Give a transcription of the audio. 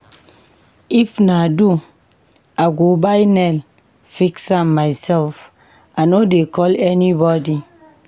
If na door, I go buy nail fix am mysef, I no dey call anybodi.